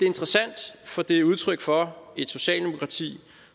interessant for det er udtryk for et socialdemokrati